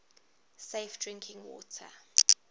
safe drinking water